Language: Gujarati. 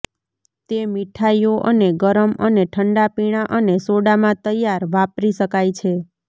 તે મીઠાઈઓ અને ગરમ અને ઠંડા પીણાં અને સોડામાં તૈયાર વાપરી શકાય છે